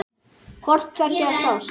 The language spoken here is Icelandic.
Hvort tveggja sást.